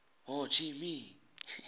ho chi minh